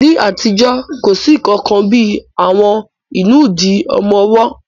Ní àtijọ́, kò sí nǹkan kan bí í àwọn ìnùdí ọmọ ọwọ́